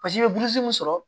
i bɛ burusi mun sɔrɔ